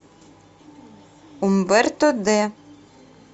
умберто д